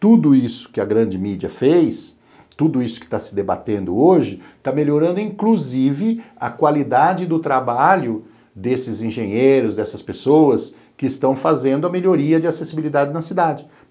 Tudo isso que a grande mídia fez, tudo isso que está se debatendo hoje, está melhorando, inclusive, a qualidade do trabalho desses engenheiros, dessas pessoas, que estão fazendo a melhoria de acessibilidade na cidade.